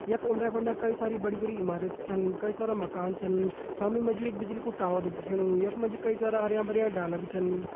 कई सारी बडी-बडी इमारतें छन कई सारे मकान छन सामने मजी बिजली का एको टावर दिखनो एक मजी कई सारा हरया-भरया ढाला भी छन।